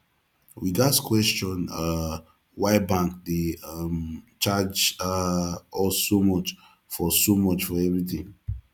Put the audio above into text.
we gats question um why bank dey um charge um us so much for so much for everything